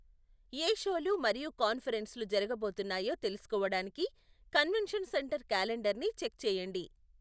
ఏ షోలు మరియు కాన్ఫరెన్స్లు జరగబోతున్నాయో తెలుసుకోవడానికి కన్వెన్షన్ సెంటర్ క్యాలెండర్ని చెక్ చేయండి.